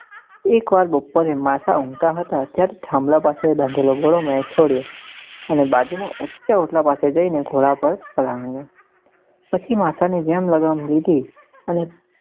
એક વાર બપોરે માસા ઉંઘતા હતા ત્યારે થાંભલા પાસે બાંધેલો ઘોડો મેં છોડ્યો અને બાજુ માં ઊંચા ઓટલા પાસે જઈ ને ઘોડા પર પલાણ્યું પછી માસ ની જેમ લગામ લીધી અને.